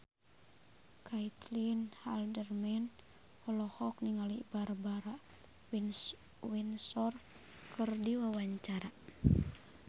Caitlin Halderman olohok ningali Barbara Windsor keur diwawancara